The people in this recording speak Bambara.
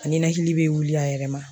A ninakili bɛ wuli a yɛrɛ ma